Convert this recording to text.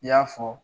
I y'a fɔ